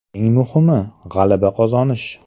Eng muhimi – g‘alaba qozonish.